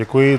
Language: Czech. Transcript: Děkuji.